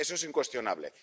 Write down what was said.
Eso es incuestionable.